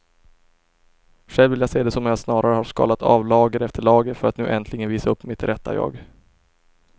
Själv vill jag se det som att jag snarare har skalat av lager efter lager för att nu äntligen visa upp mitt rätta jag.